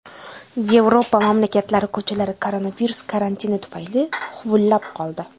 Yevropa mamlakatlari ko‘chalari koronavirus karantini tufayli huvullab qoldi.